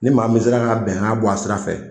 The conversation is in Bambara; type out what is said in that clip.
Ni maa min sera ka bɛngan bɔ a sira fɛ